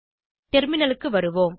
டெர்மினலுக்கு வருவோம்